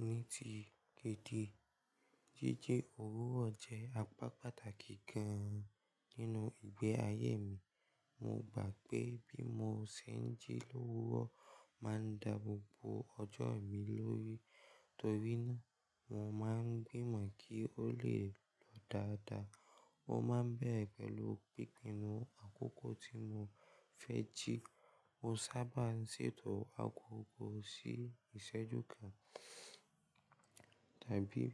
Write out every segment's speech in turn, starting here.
Ní ti gidi, jíji òwúrọ̀ jẹ́ apá pàtàkì gan-an nínú ìgbé ayé mi. Mo gbà pé bí mo ṣe ń jí lówúrọ̀ máa ń da gbogbo ọjọ́ mi lórí, torí náà mo máa ń gbìmọ̀ kí ó le lọ dáadáa. Ó máa ń bẹ̀rẹ̀ pẹ̀lú gbígbìnú àkókò tí mo fẹ́ jí. Mo sábà ń ṣètò àkókò sí ìṣẹ́jú kan tàbí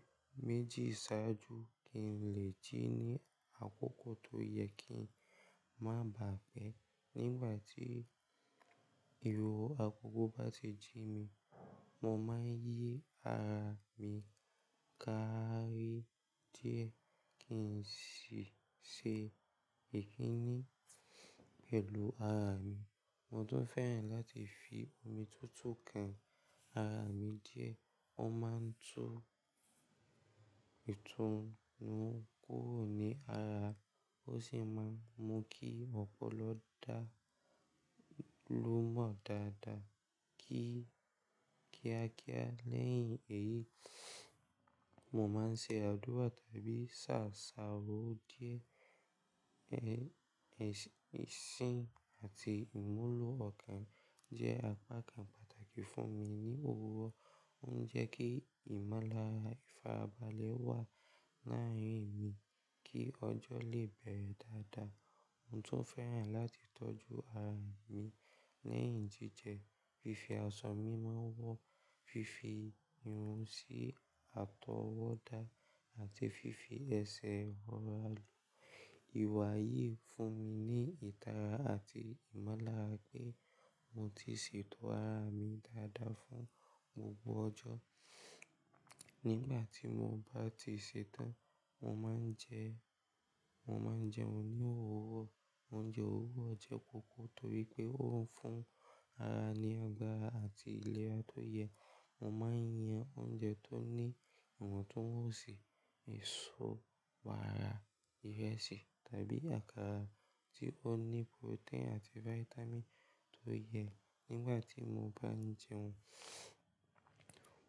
méjì ṣáájú kí n lè jí ní àkókò tó yẹ kí ń má bà á pẹ́. Nígbà tí ìwo àkókò bá ti jí mi, mo máa ń yí ara mi ká rí díẹ̀ kí n sì ṣe ìdí ni pẹ̀lú ara mi. Mo tún fẹ́ràn láti fi omi tú tú kan ara mi díẹ̀. Ó máa ń tún ìtùnú kúrò ní ara, ó sì máa ń mú kí ọpọlọ dá lúmọ dáadáa kí- kíákíá. Lẹ́yìn èyí, mo máa ń ṣe àdúrà tàbí sàsà ó díẹ̀. Ẹ-ẹ̀ṣin àti ìmúlò ọkàn jẹ́ apá kan pàtàkì fún mi ní òwúrọ̀. Ó ń jẹ́ kí ìmọ́lára ìfarabalẹ̀ wà láàárín mi kí ọjọ́ lè bẹ̀rẹ̀ dáadáa. Mo tún fẹ́ràn láti tọ́jú ara mi lẹ́yìn jíjẹ. Fifi ọsàn mímu wọ́, fífi irun sí àtọwọ́dá àti fífi ẹsẹ̀ rọra ló. Ìwà yìí ń fún mi ní ìtara àti ìmọ́lára pé mo ti ṣètò ara mi dáadáa fún gbogbo ọjọ́. Nígbà tí mo bá ti ṣetán, mo máa ń jẹ, mo máa ń jẹun ní òwúrọ̀. Oúnjẹ òwúrọ̀ jẹ́ pọ̀pọ̀ torí pé ó ń fún ara ní ọgbọ́n àti ìlera tó yẹ. Mo máa ń yan oúnjẹ tó ní ìmọ̀ tó mọ̀ọ́ sì, èso, wàrà, ìrẹsì tàbí àkàrà tí ó ní protein àti vitamin tó yẹ. Nígbà tí mo bá ń jẹun,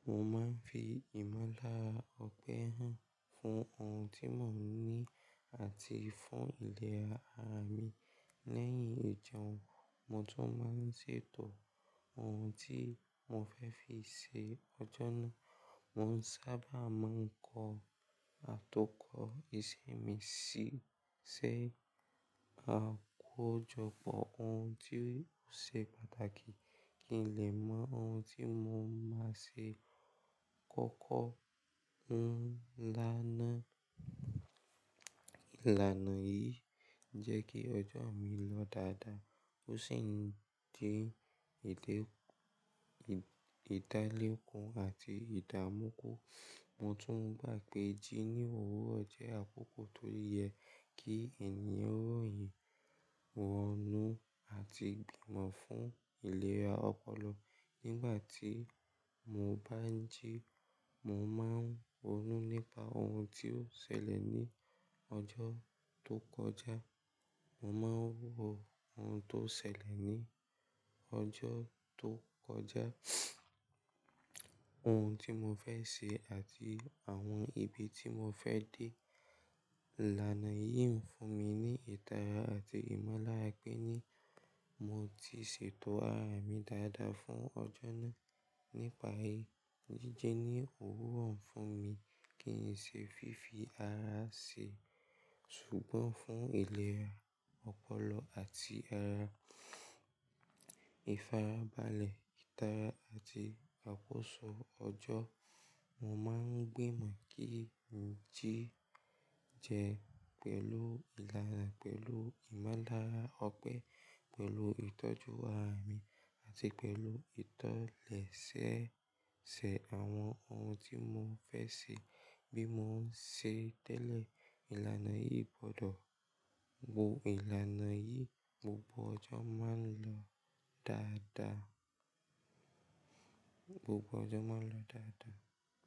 mo máa ń fi ìmọ́lára ọpẹ́ hàn fún ohun tí Mọ́ọ̀ní àti fún ìlera ara mi. Lẹ́yìn ìjẹun, mo tún máa ń ṣètò ohun tí mo fẹ́ fi ṣe ọjọ́ náà. Mo sábà máa ń kọ àtọkọ ìṣe mi sílẹ̀, àkójọpọ̀ ohun tí ó ṣe pàtàkì kí n lè mọ ohun tí mo máa ṣe kọ́kọ́, ohun ńlá náà. Ìlànà yìí jẹ́ kí ọjọ́ mi lọ dáadáa. Ó sì ń dín ìdálékun àti ìdàmúkò. Mo tún gbà pé jí ní òwúrọ̀ jẹ́ àkókò tó yẹ kí ènìyàn ròyìn, wọ inú àti gbìmọ̀ fún ìlera ọpọlọ. Nígbà tí mo bá ń jí, mo máa ń rònú nípa ohun tí ó ṣẹlẹ̀ ní ọjọ́ tó kọjá. Mo máa ń rò ohun tó ṣẹlẹ̀ ní ọjọ́ tó kọjá, ohun tí mo fẹ́ ṣe àti àwọn ibi tí mo fẹ́ dé. Ìlànà yìí ń fún mi ní ìtara àti ìmọ́lára pé ni mo ti ṣètò ara mi dáadáa fún ọjọ́ náà. Nípa yí, jíjẹ ní òwúrọ̀ ń fún mi kí n ṣe fífi ara ṣe ṣùgbọ́n fún ìlera ọpọlọ àti ara, ìfarabalẹ̀, ìtara àti àkóso ọjọ́. Mo máa ń gbìmọ̀ kí ń jí jẹ pẹ̀lú ìlànà, pẹ̀lú ìmọ́lára ọpẹ́, pẹ̀lú ìtọ́jú ara mi àti pẹ̀lú ìtọlẹ̀ṣẹṣẹ àwọn ohun tí mo fẹ́ ṣe bí mo ń ṣe tẹ́lẹ̀. Ìlànà yìí gbọ́dọ̀, gbogbo ìlànà yìí gbogbo ọjọ́ máa ń lọ dáadáa, gbogbo ọjọ́ máa ń lọ dáadáa.